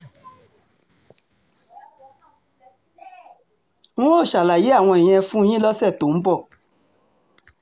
n óò ṣàlàyé àwọn ìyẹn fún yín lọ́sẹ̀ tó ń bọ̀